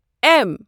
M